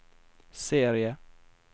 serie